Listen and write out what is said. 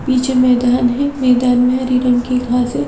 पीछे मैदान मैदान में हरी रंग की घासे--